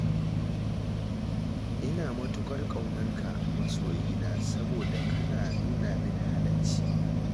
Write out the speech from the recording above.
Ina matuƙar ƙaunar ka masoyina saboda ka nuna min halacci.